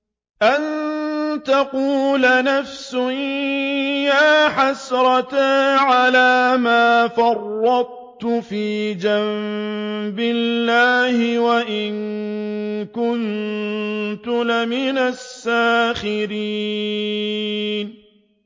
أَن تَقُولَ نَفْسٌ يَا حَسْرَتَا عَلَىٰ مَا فَرَّطتُ فِي جَنبِ اللَّهِ وَإِن كُنتُ لَمِنَ السَّاخِرِينَ